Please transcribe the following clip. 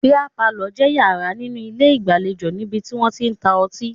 Bíà palọ̀ jẹ́ yàrá nínú ilé ìgbàlejò níbi tí wọ́n tí ń ta ọtí